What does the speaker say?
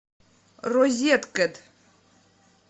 розеткед